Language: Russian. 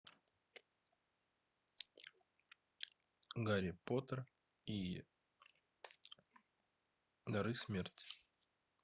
гарри поттер и дары смерти